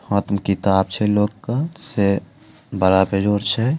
हाथ में किताब छे लोग के से बड़ा बेजोर छै।